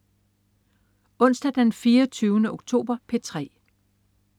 Onsdag den 24. oktober - P3: